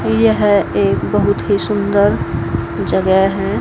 यह एक बहुत ही सुंदर जगह है।